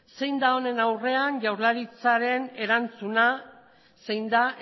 zein da honen aurrean jaurlaritzaren erantzuna zein da